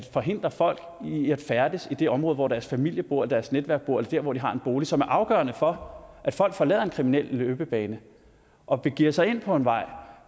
forhindre folk i at færdes i det område hvor deres familie bor deres netværk bor eller der hvor de har en bolig som er afgørende for at folk forlader en kriminel løbebane og begiver sig ind på en vej